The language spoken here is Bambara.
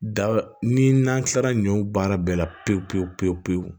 Da ni n'an kilara ɲɔw baara bɛɛ la pewu pewu pewu pewu